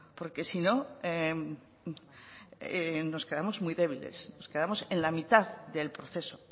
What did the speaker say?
porque si no nos quedamos muy débiles nos quedamos en la mitad del proceso